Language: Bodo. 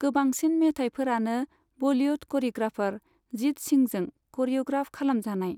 गोबांसिन मेथाइफोरानो बलिवुड करिय'ग्राफर जित सिंहजों करिय'ग्राफ खालाम जानाय।